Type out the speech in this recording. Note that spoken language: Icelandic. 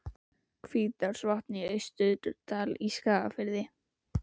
Hvítárvatns og í Austurdal í Skagafirði.